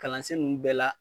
Kalansen nunnu bɛɛ la